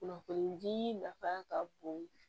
Kunnafoni di nafa ka bon